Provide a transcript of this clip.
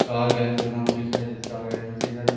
कागज बना हूं दिखाइ देता सारी--